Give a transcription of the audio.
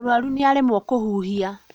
Mũrwaru nĩaremwo kũhuhia